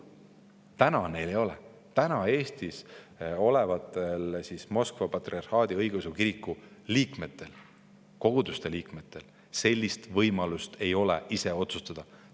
Praegu neil neid ei ole, Eestis olevatel Moskva patriarhaadi õigeusu koguduste liikmetel ei ole võimalust ise asju otsustada.